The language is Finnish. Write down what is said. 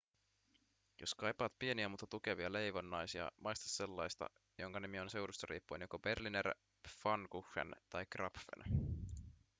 jos kaipaat pieniä mutta tukevia leivonnaisia maista sellaista jonka nimi on seudusta riippuen joko berliner pfannkuchen tai krapfen